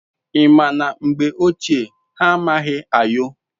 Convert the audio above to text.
I ma na mgbe ochie ha amamaghi ayo